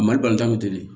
Mali balontan bɛ ten de